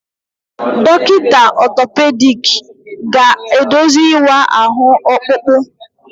Dọkịta otopediki ga-eduzi ịwa ahụ ọkpụkpụ.